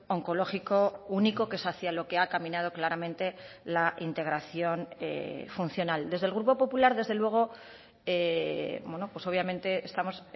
oncológico único que es hacia lo que ha caminado claramente la integración funcional desde el grupo popular desde luego obviamente estamos